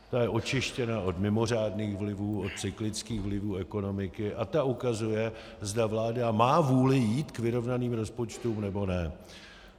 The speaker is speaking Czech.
Ta je očištěna od mimořádných vlivů, od cyklických vlivů ekonomiky a ta ukazuje, zda vláda má vůli jít k vyrovnaným rozpočtům, nebo ne.